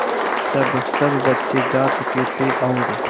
जब सब बच्चे जा चुके थे और